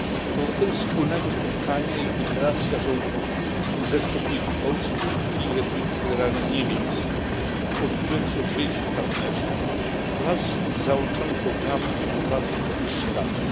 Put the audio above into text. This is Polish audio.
Owocem wspólnego spotkania jest deklaracja rządów Rzeczypospolitej Polskiej i Republiki Federalnej Niemiec pod tytułem Sąsiedzi i partnerzy wraz z załączonym programem współpracy na najbliższe lata.